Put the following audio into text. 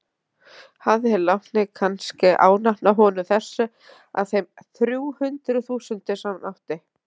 Hafði hinn látni kannske ánafnað honum þessu af þeim þrjú hundruð þúsundum sem hann átti?